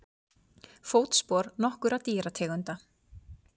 Fótspor nokkurra dýrategunda.